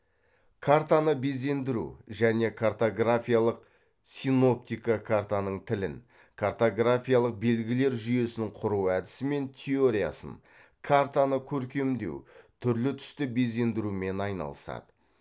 картаны безендендіру және картографиялық синоптика картаның тілін картографиялық белгілер жүйесін құру әдісі мен теориясын картаны көркемдеу түрлі түсті безендірумен айналысады